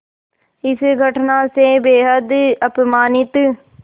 इस घटना से बेहद अपमानित